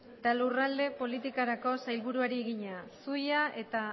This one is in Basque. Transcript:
eta lurralde politikako sailburuari egina zuia eta